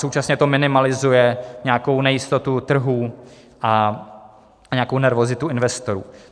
Současně to minimalizuje nějakou nejistotu trhů a nějakou nervozitu investorů.